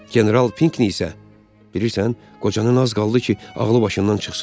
General Pinkini isə, bilirsən, qocanın az qaldı ki, ağlı başından çıxsın.